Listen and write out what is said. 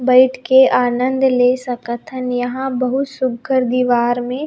बइठ के आनंद ले सकत हन यहाँ बहुत सुघ्घर दिवार में--